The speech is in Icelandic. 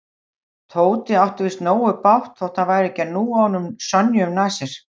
Tóti átti víst nógu bágt þótt hann færi ekki að núa honum Sonju um nasir.